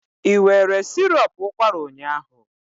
Ị were sirop ụkwara ụnyaahụ?